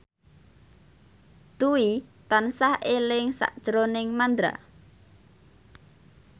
Dwi tansah eling sakjroning Mandra